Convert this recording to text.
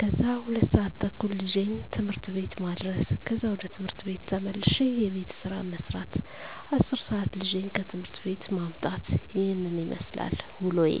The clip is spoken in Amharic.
ከዛ 2:30 ልጄን ት/ት ቤት ማድረስ ከዛ ወደ ቤት ተመልሼ የቤት ስራ መስራት 10:00 ልጄን ከት/ት ቤት ማምጣት ይህንን ይመስላል ውሎዬ።